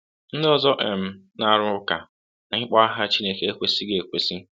Ndị ọzọ um na-arụ ụka na ịkpọ aha Chineke ekwesịghi ekwesị.